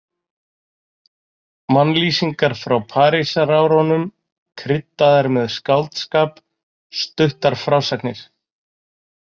Mannlýsingar frá Parísarárunum, kryddaðar með skáldskap, stuttar frásagnir.